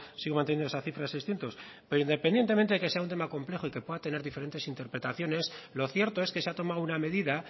sigo manteniendo esa cifra de seiscientos pero independientemente de que sea un tema complejo y que pueda tener diferentes interpretaciones lo cierto es que se ha tomado una medida